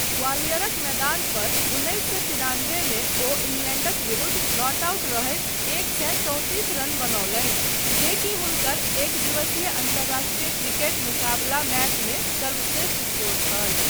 ग्वालियरक मैदान पर उन्नैस सए तिरानबे मे ओ इंग्लैण्डक विरुद्ध नॉट आउट रहैत एक सए चौंतिस रन बनौलनि जे की हुनकर एकदिवसीय अन्तरराष्ट्रीय क्रिकेट मुकाबला मैचमे सर्वश्रेष्ठ स्कोर छल।